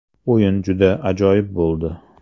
O‘yin juda ajoyib bo‘ldi.